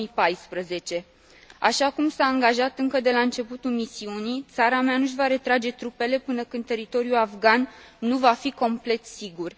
2014. Așa cum s a angajat încă de la începutul misiunii, țara mea nu își va retrage trupele până când teritoriul afgan nu va fi complet sigur.